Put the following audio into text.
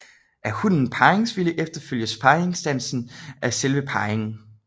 Er hunnen parringsvillig efterfølges parringsdansen af selve parringen